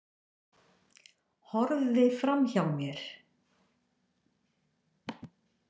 Horfði framhjá mér.